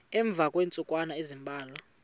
emva kweentsukwana ezimbalwa